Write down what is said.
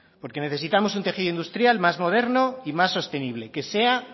porque necesitamos un tejido industrial más moderno y más sostenible que sea